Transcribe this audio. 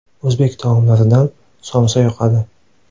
O‘zbek taomlaridan somsa yoqadi.